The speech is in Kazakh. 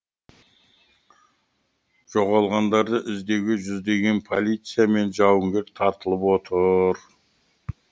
жоғалғандарды іздеуге жүздеген полиция мен жауынгер тартылып отыр